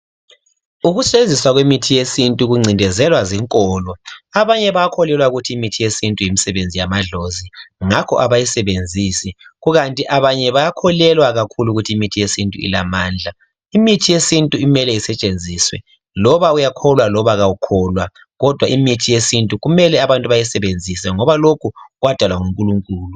Ukusetshenziswa kwemithi yesintu kuncindezelwa zinkolo. Abanye bakholelwa ukuthi imithi yesintu yimisebenzi yamadlozi ngakho abayisebenzisi kukanti abanye bayakholelwa kakhulu ukuthi imithi yesintu ilamandla. Imithi yesintu imele isetshenziswe loba uyakholwa loba awukholwa kodwa imithi yesintu kumele bayisebenzise ngob lokho kwadalwa nguNkulunkulu.